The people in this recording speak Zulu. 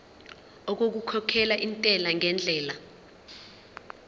okukhokhela intela ngendlela